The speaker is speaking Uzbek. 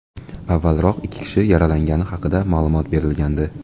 Avvalroq, ikki kishi yaralangani haqida ma’lumot berilgandi.